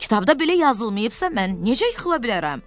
Kitabda belə yazılmayıbsa, mən necə yıxıla bilərəm?